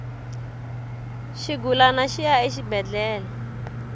xigulana xi ya exibedhlele